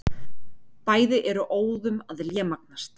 Bæði eru óðum að lémagnast.